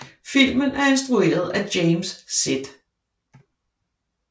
Filmen er instrueret sf James Z